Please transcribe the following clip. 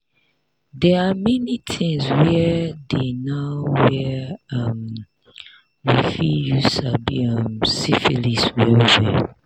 they are many things were dey now were um we fit use sabi um syphilis well well